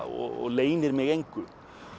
og leynir mig engu